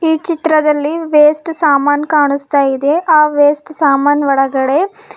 ಈ ಚಿತ್ರದಲ್ಲಿ ವೇಸ್ಟ್ ಸಾಮಾನ್ ಕಾಣಿಸ್ತಾಯಿದೆ ಆ ವೇಸ್ಟ್ ಸಾಮಾನ್ ಒಳಗಡೆ.